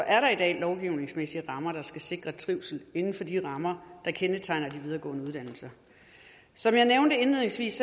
er der i dag lovgivningsmæssige rammer der skal sikre trivsel inden for de rammer der kendetegner de videregående uddannelser som jeg nævnte indledningsvis